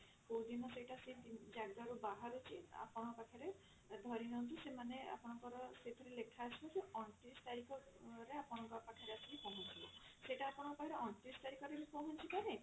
କଉଦିନ ସେଇଟା ସେଇ ଜାଗା ରୁ ବାହାରୁଛି ଆପଣଙ୍କ ପାଖରେ ଧରିନିଅନ୍ତୁ ସେମାନେ ଆପଣଙ୍କର ସେଥିରେ ଲେଖା ଆସୁଛି ଅଣତିରିଶ ତାରିଖ ରେ ଆପଣଙ୍କ ପାଖ ରେ ଆସିକି ପହଞ୍ଚିବ। ସେଟା ଆପଣଙ୍କ ପାଖରେ ଅଣତିରିଶ ତାରିଖ ରେ ବି ପହଞ୍ଚି ପାରେ